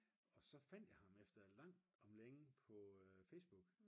og så fandt jeg ham efter langt om længe på Facebook